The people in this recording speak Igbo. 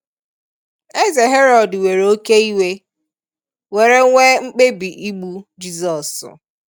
Eze Herod were oké iwe, were nwee mkpebi igbu Jizọs